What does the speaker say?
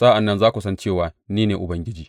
Sa’an nan za ku san cewa ni ne Ubangiji.